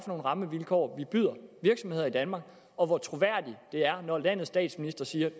nogle rammevilkår vi byder virksomheder i danmark og hvor troværdigt det er når landets statsminister siger